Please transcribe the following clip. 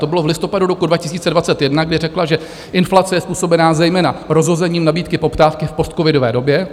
To bylo v listopadu roku 2021, kdy řekla, že inflace je způsobená zejména rozhozením nabídky - poptávky v postcovidové době.